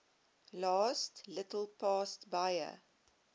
little past bahia